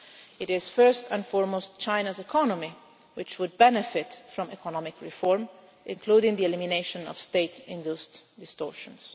It is first and foremost China's economy which would benefit from economic reform, including the elimination of state induced distortions.